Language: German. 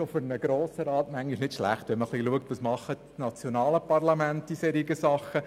Es ist auch für den Grossen Rat nicht schlecht, zu schauen, was die nationalen Parlamente in solchen Dingen tun.